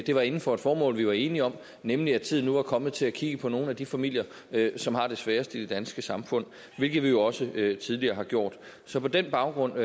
det var inden for et formål vi var enige om nemlig at tiden nu var kommet til at kigge på nogle af de familier som har det sværest i det danske samfund hvilket vi jo også tidligere har gjort så på den baggrund